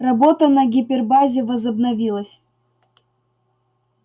работа на гипербазе возобновилась